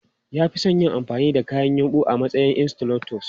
Ya fi son yin amfani da kayan yumbu a matsayin insulators.